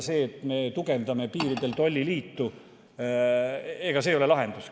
See, et me tugevdame piiridel tolliliitu, ei ole lahendus.